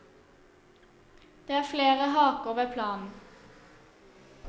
Det er flere haker ved planen.